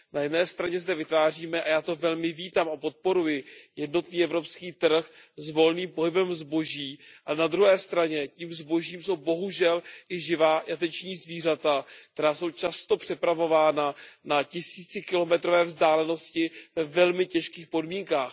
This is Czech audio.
Na jedné straně zde vytváříme, a já to velmi vítám a podporuji, jednotný evropský trh s volným pohybem zboží, a na druhé straně tím zbožím jsou bohužel i živá jateční zvířata, která jsou často přepravována na tisícikilometrové vzdálenosti ve velmi těžkých podmínkách.